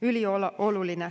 Ülioluline.